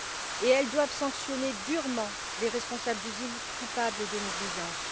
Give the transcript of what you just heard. Et elles doivent sanctionner durement les responsables d'usines, coupables de négligence.